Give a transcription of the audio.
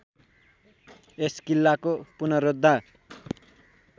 यस किल्लाको पुनरोद्धा